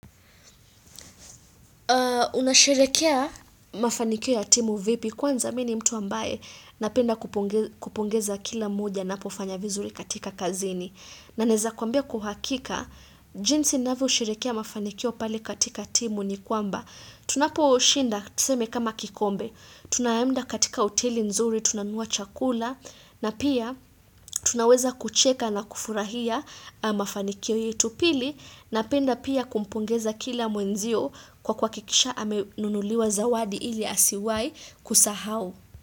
Unasherehekea mafanikio ya timu vipi kwanza mimi ni mtu ambaye napenda kupongeza kila mmoja anapofanya vizuri katika kazini. Na naeza kwambia kwa uhakika, jinsi ninavyo sherekea mafanikio pale katika timu ni kwamba. Tunapo shinda tuseme kama kikombe. Tunaenda katika hoteli nzuri, tunanua chakula. Na pia tunaweza kucheka na kufurahia mafanikio yetu pili napenda pia kumpongeza kila mwenzio kwa kuhakikisha amenunuliwa zawadi ili asiwai kusahau.